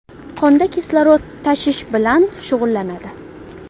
qonda kislorod tashish bilan shug‘ullanadi.